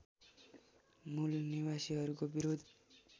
मूल निवासीहरूको विरोध